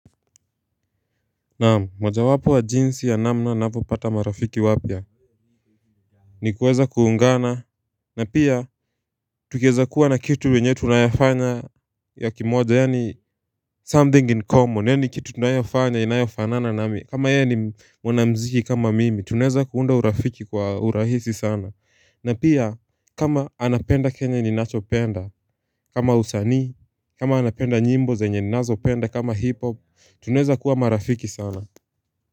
Na moja wapo wa jinsi ya namna navyo pata marafiki wapya ni kuweza kuungana na pia tukiweza kuwa na kitu wenyewe tunayafanya ya kimoja yani something in common yani kitu tunayofanya inayofanana nami kama yeye ni mwana mziki kama mimi tunaeza kuunda urafiki kwa urahisi sana na pia kama anapenda kenye ninacho penda kama usanii kama anapenda nyimbo zenye ninazo penda kama hip hop tunaeza kuwa marafiki sana.